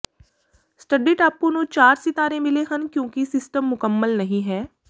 study ਟਾਪੂ ਨੂੰ ਚਾਰ ਸਿਤਾਰੇ ਮਿਲੇ ਹਨ ਕਿਉਂਕਿ ਸਿਸਟਮ ਮੁਕੰਮਲ ਨਹੀਂ ਹੈ